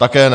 Také ne.